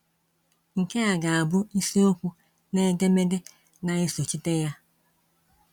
Nkea ga abụ isiokwu nedemede na esochite ya.